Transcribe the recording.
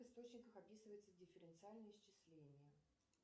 в источниках описывается дифференциальное исчисление